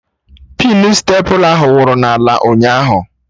Pinu stepla ahụ wụrụ n'ala ụnyaahụ